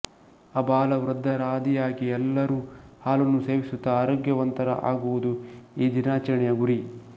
ಅಬಾಲವೃದ್ಧರಾದಿಯಾಗಿ ಎಲ್ಲರೂ ಹಾಲನ್ನು ಸೇವಿಸುತ್ತಾ ಆರೋಗ್ಯವಂತರ ಆಗುವುದು ಈ ದಿನಾಚರಣೆಯ ಗುರಿ